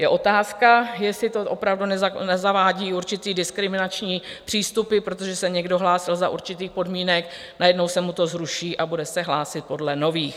Je otázka, jestli to opravdu nezavádí určité diskriminační přístupy, protože se někdo hlásil za určitých podmínek, najednou se mu to zruší a bude se hlásit podle nových.